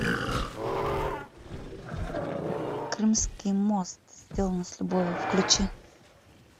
крымский мост сделано с любовью включи